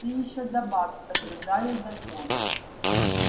ты ещё добавь соблюдаю закон